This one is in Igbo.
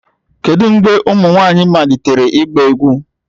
Kedu mgbe ụmụ nwanyị malitere ịgba egwu